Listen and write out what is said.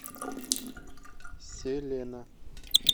селена